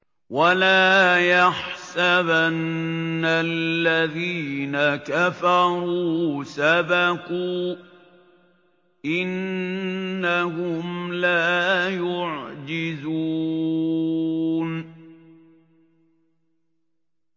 وَلَا يَحْسَبَنَّ الَّذِينَ كَفَرُوا سَبَقُوا ۚ إِنَّهُمْ لَا يُعْجِزُونَ